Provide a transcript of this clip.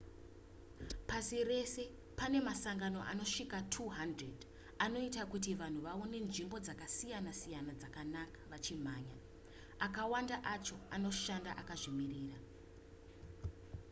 pasi rese pane masangano angasvika 200 anoita kuti vanhu vaone nzvimbo dzakasiyana-siyana dzakanaka vachimhanya akawanda acho anoshanda akazvimiririra